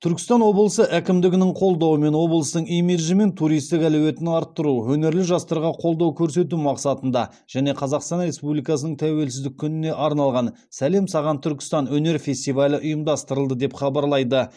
түркістан облысы әкімдігінің қолдауымен облыстың имиджі мен туристік әлеуетін арттыру өнерлі жастарға қолдау көрсету мақсатында және қазақстан республикасының тәуелсіздік күніне арналған сәлем саған түркістан өнер фестивалі ұйымдастырылды деп хабарлайды